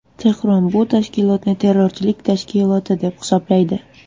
Tehron bu tashkilotni terrorchilik tashkiloti deb hisoblaydi.